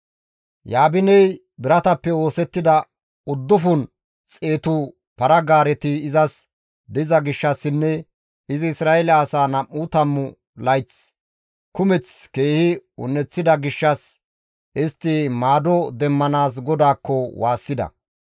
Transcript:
Yaabiney biratappe oosettida uddufun xeetu para-gaareti izas diza gishshassinne izi Isra7eele asaa nam7u tammu layth kumeth keehi un7eththida gishshas istti maado demmanaas GODAAKKO waassida.